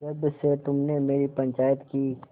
जब से तुमने मेरी पंचायत की